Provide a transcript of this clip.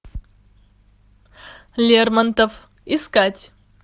лермонтов искать